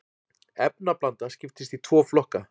efnablanda skiptist í tvo flokka